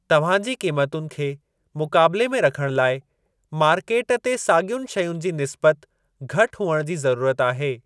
तव्हां जी क़ीमतुनि खे मुक़ाबिले में रखणु लाइ मार्केट ते साॻियुनि शयुनि जी निस्बतनि घटि हुअणु जी ज़रूरत आहे।